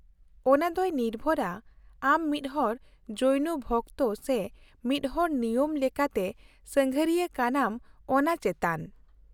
-ᱚᱱᱟ ᱫᱚᱭ ᱱᱤᱨᱵᱷᱚᱨᱟ ᱟᱢ ᱢᱤᱫᱦᱚᱲ ᱡᱳᱭᱱᱚ ᱵᱷᱚᱠᱛᱚ ᱥᱮ ᱢᱤᱫᱦᱚᱲ ᱱᱤᱭᱟᱹᱢ ᱞᱮᱠᱟᱛᱮ ᱥᱟᱸᱜᱷᱟᱨᱤᱭᱟᱹ ᱠᱟᱱᱟᱢ ᱚᱱᱟ ᱪᱮᱛᱟᱱ ᱾